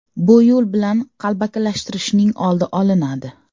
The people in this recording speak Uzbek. Bu yo‘l bilan qalbakilashtirishning oldi olinadi.